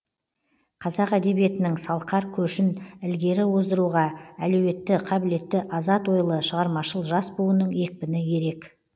қазақ әдебиетінің салқар көшін ілгері оздыруға әлеуетті қабілетті азат ойлы шығармашыл жас буынның екпіні ерек